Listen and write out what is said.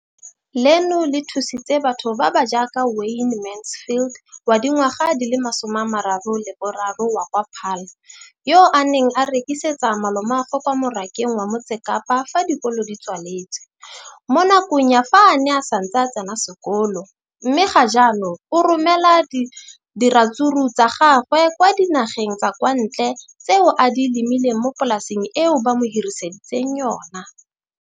leno le thusitse batho ba ba jaaka Wayne Mansfield, 33, wa kwa Paarl, yo a neng a rekisetsa malomagwe kwa Marakeng wa Motsekapa fa dikolo di tswaletse, mo nakong ya fa a ne a santse a tsena sekolo, mme ga jaanong o romela diratsuru tsa gagwe kwa dinageng tsa kwa ntle tseo a di lemileng mo polaseng eo ba mo hiriseditseng yona.